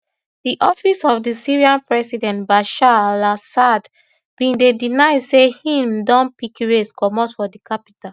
di office of di syrian president bashar alassad bin deny say im don pick race comot from di capital